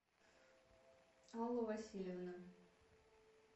алла васильевна